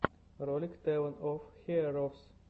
ролик тэвэн оф хиэровс